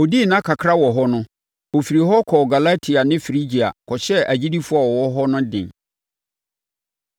Ɔdii nna kakra wɔ hɔ no, ɔfirii hɔ kɔɔ Galati ne Frigia kɔhyɛɛ agyidifoɔ a wɔwɔ hɔ no den.